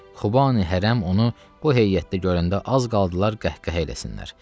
Xubani hərəm onu bu heyyətdə görəndə az qaldılar qəhqəhə eləsinlər.